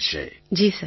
Tarannum Khan ji sir